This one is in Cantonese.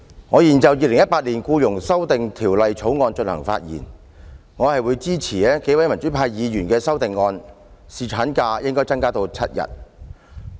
我現就《2018年僱傭條例草案》發言，我會支持多位民主派議員提出的修正案，把侍產假增至7天。